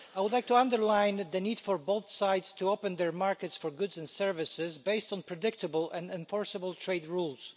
I would like to underline the need for both sides to open their markets for goods and services based on predictable and enforceable trade rules.